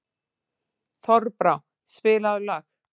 Þorbrá, spilaðu lag.